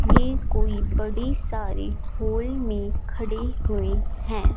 ये कोई बड़े सारे हॉल में खड़े हुए हैं।